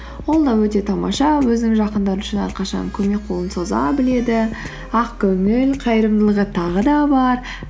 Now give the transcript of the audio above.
ол да өте тамаша өзінің жақындары үшін әрқашан көмек қолын соза біледі ақкөңіл қайырымдылығы тағы да бар